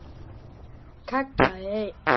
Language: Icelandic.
kallaði einn.